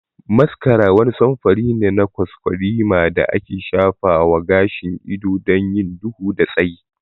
Mascara wani samfuri ne na kwaskwarima da ake shafa wa gashin ido don yin duhu da tsayi.